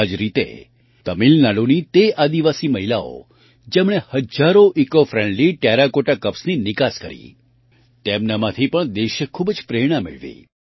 આ જ રીતે તમિલનાડુની તે આદિવાસી મહિલાઓ જેમણે હજારો eco friendly terracotta cups terracotta કપ્સની નિકાસ કરી તેમનામાંથી પણ દેશે ખૂબ જ પ્રેરણા મેળવી